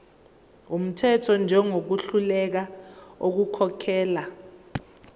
wumthetho njengohluleka ukukhokhela